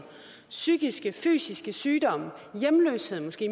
psykiske og fysiske sygdomme hjemløshed måske